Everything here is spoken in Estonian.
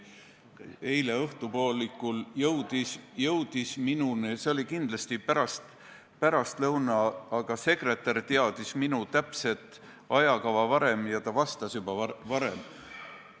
See oli kindlasti pärastlõuna, kui see teade minu kätte jõudis, aga sekretär teadis minu täpset ajakava varem ja ta vastas juba varem.